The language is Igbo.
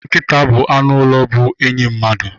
Nkita bụ anụ ụlọ bụ enyi mmadụ